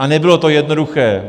A nebylo to jednoduché.